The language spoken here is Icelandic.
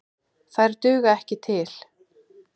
Þær duga ekki til.